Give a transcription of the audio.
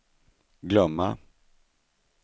glömma